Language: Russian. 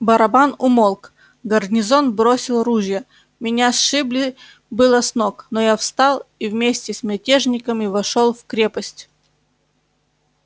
барабан умолк гарнизон бросил ружья меня сшибли было с ног но я встал и вместе с мятежниками вошёл в крепости в